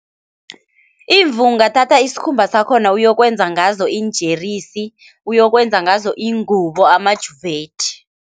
Imvu ungathatha isikhumba sakhona uyokwenza ngazo iinjeresi, uyokwenza ngazo iingubo, amajuvethi.